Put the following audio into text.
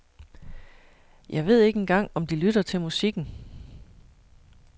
Jeg ved ikke engang om de lytter til musikken.